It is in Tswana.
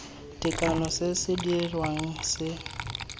tekano se se dirwang se